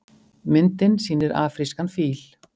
Myndin sýnir afrískan fíl.